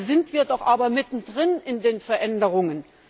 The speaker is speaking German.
Dabei sind wir doch aber mittendrin in den Veränderungen!